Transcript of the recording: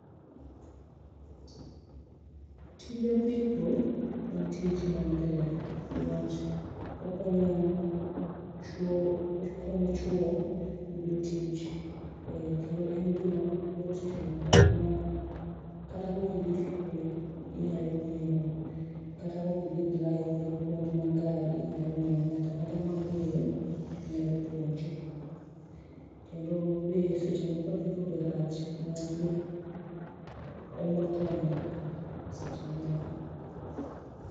Tij apiko en tich maber ni wach okonyo chuo, okonyo chuo yudo tich kendo en gi ma yot itimo kata ok idhi skul to inya ng'eyo, kata ok idhi driving puonj mar gari inya ng'eyo. Ng'at ang'at mong'eyo nyal puonji kendo be seche moko be apiko be rach ni wach be oomo thoo e ndara seche moko.